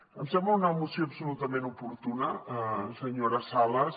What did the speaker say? em sembla una moció absolutament oportuna senyora sales